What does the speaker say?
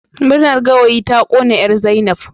Murnar gawayi ta kona 'yar Zainab